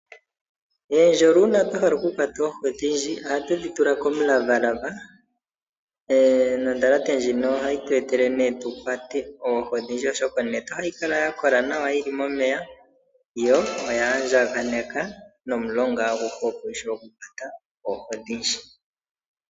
Ohatu longitha uundjolo una twahala oku kwata oohi odhindji, oha tu dhitula komulavalava, nondhalate ndjino ohayi tu etele tukwate oohi odhindji oshoka onete ohayi kala yakola nawa yili momeya yo oya andjakanekwa nomulonga aguhe opo wushiwe oku kwata oohi odhindji.